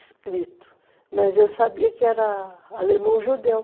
escrito, mas eu sabia que era alemão-judeu.